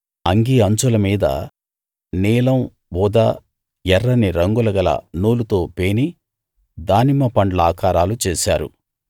అంగీ అంచుల మీద నీలం ఊదా ఎర్రని రంగుల గల నూలుతో పేని దానిమ్మ పండ్ల ఆకారాలు చేశారు